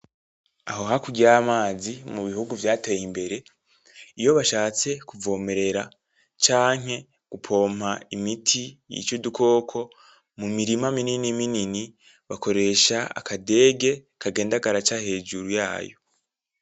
Aho hakurya yamazi mubihugu vyateye imbere iyo bashatse kuvomerera canke gupompa imiti yica udukoko mumirima minini minini bakoresha aka dege kagenda karaca hejuru yayo.